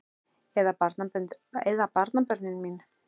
Eða barnabörnin mín?